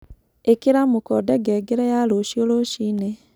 ĩkĩra mũkonde ngengere ya rũcĩũ rũcĩĩnĩ